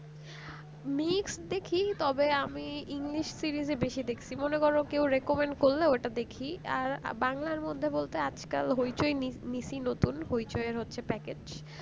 english